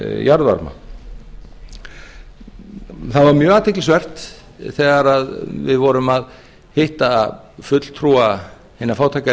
jarðvarma það var mjög athyglisvert þegar við vorum að hitta fulltrúa hinna fátækari